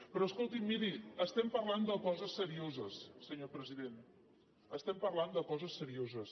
però escolti’m miri estem parlant de coses serioses senyor president estem parlant de coses serioses